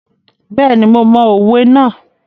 Bẹ́ẹ̀ni, mo mọ òwe náà.